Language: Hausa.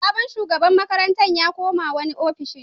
Sabon shugaban makarantar ya koma wani ofishin.